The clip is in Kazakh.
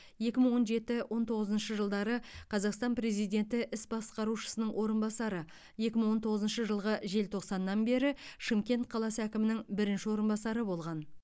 екі мың он жеті он тоғызыншы жылдары қазақстан президенті іс басқарушысының орынбасары екі мың он тоғызыншы жылғы желтоқсаннан бері шымкент қаласы әкімінің бірінші орынбасары болған